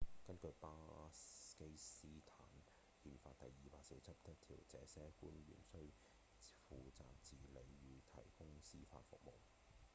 根據巴基斯坦憲法第247條這些官員需負責治理與提供司法服務